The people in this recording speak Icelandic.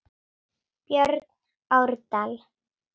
Björn Árdal.